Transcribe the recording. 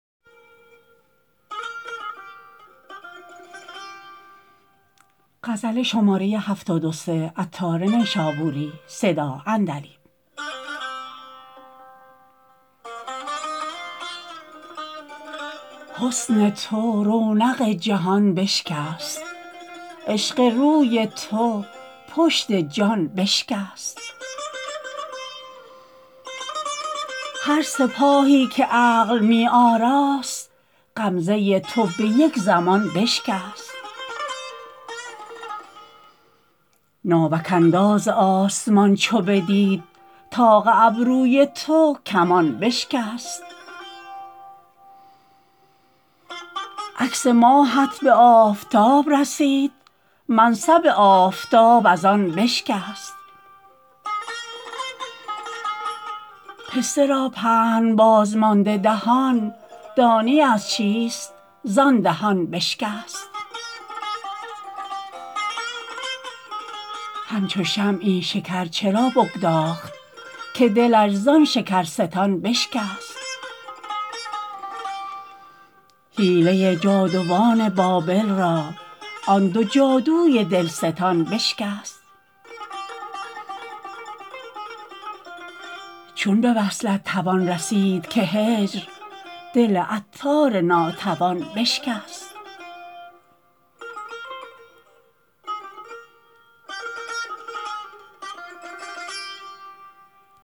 حسن تو رونق جهان بشکست عشق روی تو پشت جان بشکست هر سپاهی که عقل می آراست غمزه تو به یک زمان بشکست ناوک انداز آسمان چو بدید طاق ابروی تو کمان بشکست عکس ماهت به آفتاب رسید منصب آفتاب از آن بشکست پسته را پهن بازمانده دهان دانی از چیست زان دهان بشکست همچو شمعی شکر چرا بگداخت که دلش زان شکرستان بشکست حیله جادوان بابل را آن دو جادوی دلستان بشکست چون به وصلت توان رسید که هجر دل عطار ناتوان بشکست